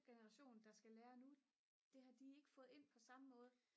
generation der skal lære nu det har de ikke fået ind på samme måde